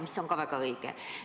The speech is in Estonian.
See on ka väga õige.